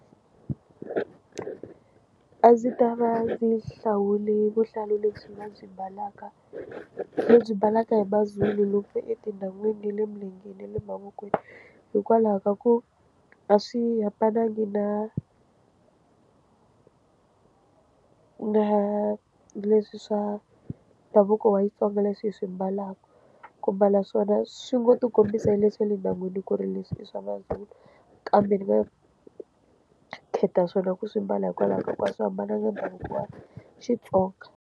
A ndzi ta va ndzi hlawule vuhlalu lebyi vabyi mbalaka lebyi mbalaka hi maZulu lave etindhawini ta le mugangeni ya le mavokweni hikwalaho ka ku a swi hambanangi na na leswi swa ndhavuko wa Xitsonga leswi hi swi mbalaka ku mbala swona swi ngo ti kombisa le swa le ndyangwini ku ri leswi i swa maZulu kambe ni nga khetha swona ku swi mbala hikwalaho ka ku a swi hambanangi na ndhavuko wa Xitsonga.